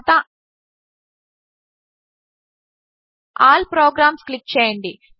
తరువాత all programs click చేయండి